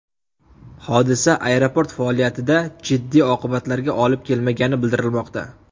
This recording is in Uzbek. Hodisa aeroport faoliyatida jiddiy oqibatlarga olib kelmagani bildirilmoqda.